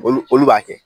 Olu olu b'a kɛ